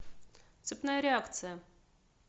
цепная реакция